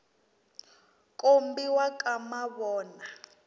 kombiwa ka mavona